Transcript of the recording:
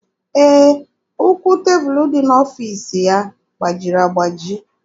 Ee, ụkwụ tebụlụ dị n'ọfiisi ya gbajiri agbaji.